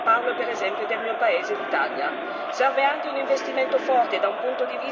prendere le buone prassi che esistono in Europa parlo per esempio del mio paese, l'Italia.